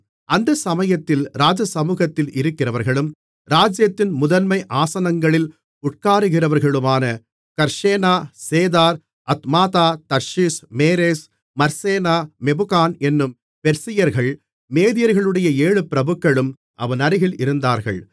அந்த சமயத்தில் ராஜசமுகத்தில் இருக்கிறவர்களும் ராஜ்ஜியத்தின் முதன்மை ஆசனங்களில் உட்காருகிறவர்களுமான Carshena Shethar Admatha Tarshish Meres Marsena Memucan என்னும் பெர்சியர்கள் மேதியர்களுடைய ஏழு பிரபுக்களும் அவன் அருகில் இருந்தார்கள்